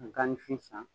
Ka gan ni fin san